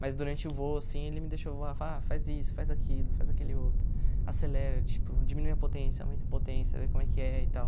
Mas durante o voo, assim, ele me deixou voar, fala, faz isso, faz aquilo, faz aquele outro, acelera, tipo, diminui a potência, aumenta a potência, vê como é que é e tal.